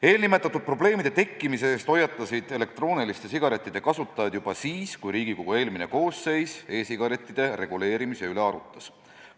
Eelnimetatud probleemide tekkimise eest hoiatasid elektrooniliste sigarettide kasutajad juba siis, kui Riigikogu eelmine koosseis e-sigarettide reguleerimise üle arutas.